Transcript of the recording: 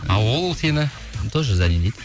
а ол сені тоже зани дейді